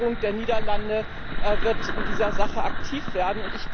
Die Regierung der Niederlande wird in dieser Sache aktiv werden.